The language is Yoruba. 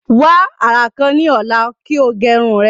Wa ara kan ni ọla ki o ge irun rẹ.